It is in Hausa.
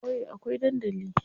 A ƙauye akwai dandali.